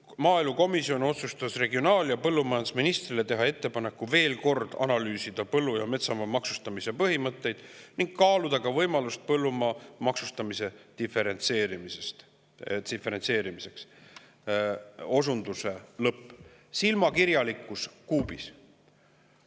"Maaelukomisjon otsustas regionaal‑ ja põllumajandusministrile teha ettepaneku veelkord analüüsida põllu‑ ja metsamaa maksustamise põhimõtteid ning kaaluda võimalust põllumaa maksustamise diferentseerimiseks " Silmakirjalikkus kuubis!